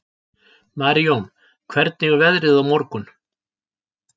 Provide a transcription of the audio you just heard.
Marijón, hvernig er veðrið á morgun?